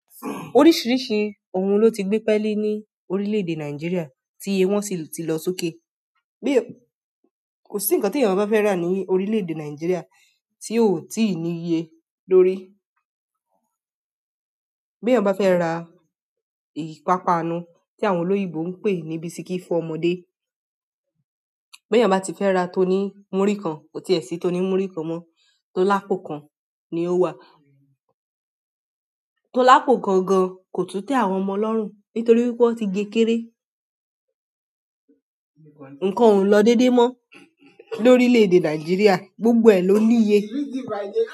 Oríṣìíríṣìí ohun ló ti gbé pẹ́ẹ́li ní orílẹ̀-èdè Nàìjíríà tí iye wọ́n sì ti lọ sókè. Kò ṣì nkàn tí ènìyàn bá fẹ́ rà ní orílẹ̀-èdè Nàìjíríà tí óò ti ní ìye lórí. Bí ènìyàn bá fẹ́ ra ìpápánu tí àwọn olóyìnbó ń pè ní bisikí fún ọmọdé, bí ènìyàn bá ti fẹ́ ra tó ní múrí kan, kò ti è sí tó ní múrí kan mọ́, tó lápò kan ni ó wà. Tó lápò gangan kò tún tẹ àwọn ọmọ lọ́rùn nítorí wípé wọ́n ti ge kéré. Ǹǹkan ò lọ déédé mọ́ lórílẹ̀ èdè Nàìjíríà, gbogbo ẹ̀ ló ní iye.